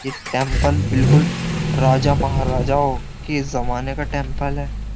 ये टेंपल बिल्कुल राजा महाराजाओं के जमाने का टेंपल है।